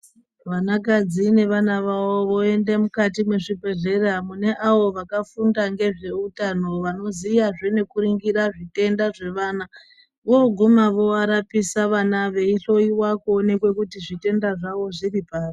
Vanakadzi nevana vavo voende mukati mwezvibhehlera mune avo vakafunda ngezveutano vanoziyazve nekuringira zvitenda zvevana voguma vovarapisa vana veihlowiwa vana veionekwa kuti zvitenda zvavo zviri papi.